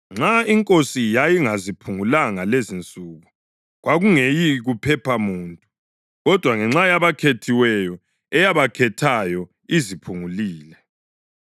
Nxa iNkosi yayingaziphungulanga lezinsuku, kwakungeyi kuphepha muntu. Kodwa ngenxa yabakhethiweyo, eyabakhethayo, iziphungulile.